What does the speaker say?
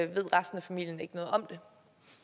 ved resten af familien ikke noget om